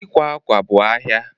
Ịkwa akwa bụ ahia